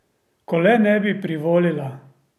Ko le ne bi privolila!